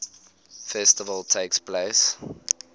festival takes place